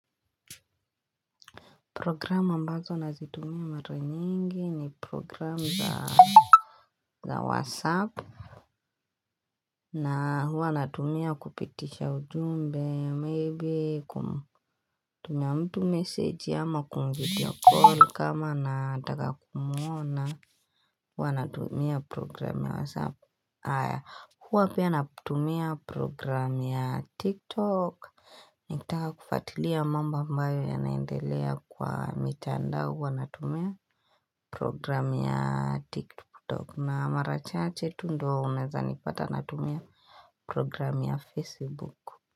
Programu ambazo nazitumia mara nyingi ni program za whatsapp na huwa natumia kupitisha ujumbe, maybe kumtumia mtu message ama kumvideocall kama nataka kumuona huwa natumia program ya whatsapp Aya huwa pia na tumia program ya tik tok Nikitaka kufwatilia mamba ambayo yanaendelea kwa mitandao huwa na tumia program ya tik tok na marachache tu ndo wa umezanipata na tumia program ya facebook.